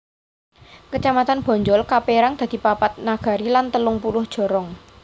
Kecamatan Bonjol kapérang dadi papat nagari lan telung puluh jorong